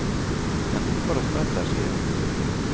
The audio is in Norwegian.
Den hopper og spretter, sier han.